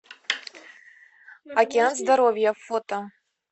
океан здоровья фото